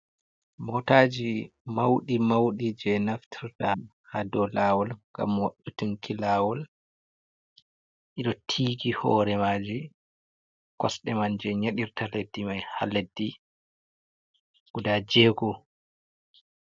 Motaji maudi maudi je naftorta ha do lawol, ngam wabɓitunki lawol ido tiigi hore maji, kosde man je nyadirta leddi mai ha leddi guda jego.